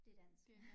Det dansk